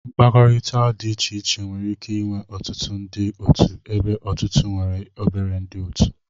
Mkpakọrịta dị iche iche nwere ike ịnwe ọtụtụ ndị otu ebe ọtụtụ nwere obere ndị otu